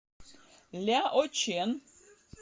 ляочэн